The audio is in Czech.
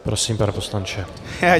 Prosím, pane poslanče.